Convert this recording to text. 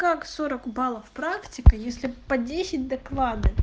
как сорок баллов практика если по десять доклады